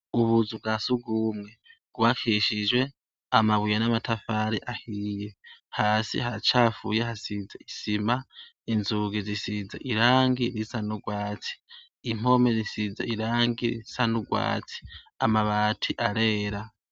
Ubuzu bwasugume bwubakishijwe amabuye namatafari ahiye hasi haracafuye hasize isima inzugi zisize irangi risa nurwatsi impome zisize irangi risa nurwatsi amabati arera